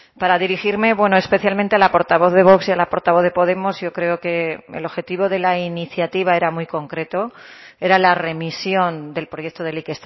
para dirigirme especialmente la portavoz de vox y a la portavoz de podemos yo creo que el objetivo de la iniciativa era muy concreto era la remisión del proyecto de ley